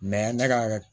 ne ka